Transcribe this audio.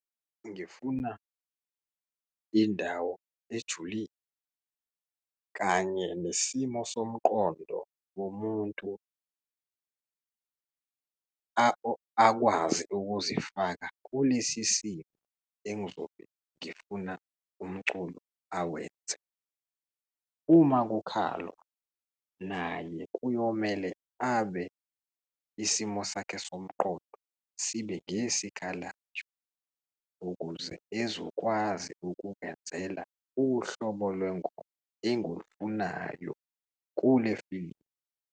Ngifuna indawo ejulile kanye nesimo somqondo womuntu akwazi ukuzifaka kulesi simo engizobe ngifuna umculo awenze. Uma kukhalwa, nanye kuyomele abe isimo sakhe somqondo sibe ngesikalayo, ukuze ezokwazi ukungenzela uhlobo lwengoma engulufunayo kule filimu.